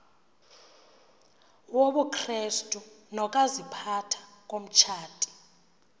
wobukrestu nokaziphatha komtshati